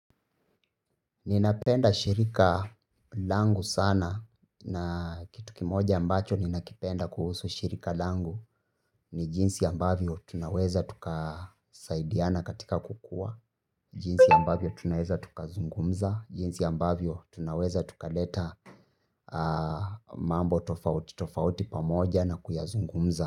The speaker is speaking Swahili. Ninapenda shirika langu sana na kitu kimoja ambacho ninakipenda kuhusu shirika langu ni jinsi ambavyo tunaweza tukasaidiana katika kukua, jinsi ambavyo tunaweza tukazungumza, jinsi ambavyo tunaweza tukaleta mambo tofauti, tofauti pamoja na kuyazungumza.